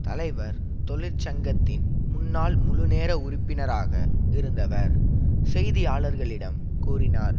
தலைவர் தொழிற்சங்கத்தின் முன்னாள் முழுநேர உறுப்பினராக இருந்தவர் செய்தியாளர்களிடம் கூறினார்